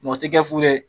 Mɛ o tɛ kɛ fu ye